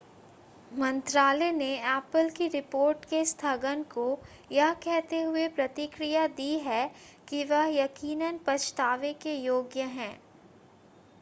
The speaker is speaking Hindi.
मंत्रालय ने एप्पल की रिपोर्ट के स्थगन को यह कहते हुए प्रतिक्रिया दी है कि वह यकीनन पछतावे के योग्य है